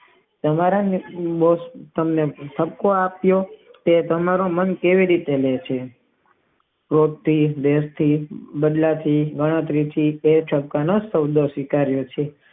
તમારા મંત મુજબ તેમને ખર્ચો આપીયો તે બનાર મન કેવી રીતે હોઉં છે એક થી બે થી બદલાતી ગણતરી થી તે કયો શબ્દ સ્વીકારિયોં છે